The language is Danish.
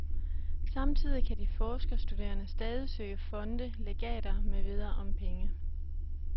Samtidig kan de forskerstuderende stadig søge fonde, legater med videre om penge.